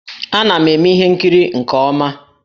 Ana m eme ihe nkiri nke ọma